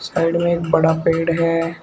Side में एक बड़ा पेड़ है।